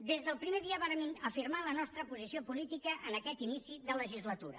des del primer dia vàrem afirmar la nostra posició política en aquest inici de legislatura